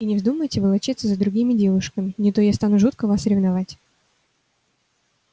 и не вздумайте волочиться за другими девушками не то я стану жутко вас ревновать